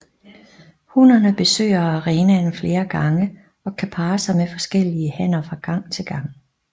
Hunnerne besøger arenaen flere gange og kan parre sig med forskellige hanner fra gang til gang